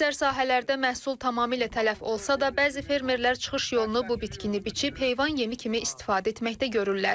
Əksər sahələrdə məhsul tamamilə tələf olsa da, bəzi fermerlər çıxış yolunu bu bitkini biçib heyvan yemi kimi istifadə etməkdə görürlər.